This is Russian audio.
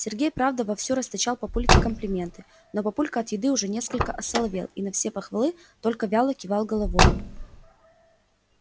сергей правда вовсю расточал папульке комплименты но папулька от еды уже несколько осоловел и на все похвалы только вяло кивал головой